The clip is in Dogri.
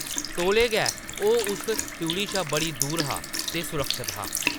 तौले गै ओह्‌‌ उस त्रिउढ़ी शा बड़ी दूर हा ते सुरक्षत हा ।